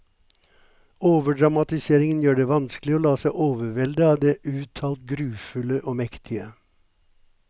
Overdramatiseringen gjør det vanskelig å la seg overvelde av det uttalt grufulle og mektige.